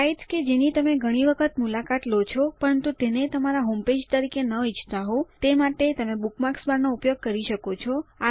sites કે જેની તમે ઘણી વખત મુલાકાત લો છો પરંતુ તેને તમારા હોમપેજ તરીકે ન ઈચ્છતા હોવ તે માટે તમે બુકમાર્ક્સ બાર નો ઉપયોગ કરી શકો છો